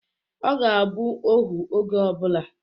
Ọ ga-abụ ohu oge ọbụla.